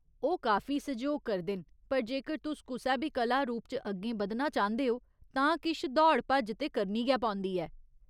ओह् काफी सैहयोग करदे न पर जेकर तुस कुसै बी कला रूप च अग्गें बधना चांह्दे ओ तां किश दौड़ भज्ज ते करनी गै पौंदी ऐ।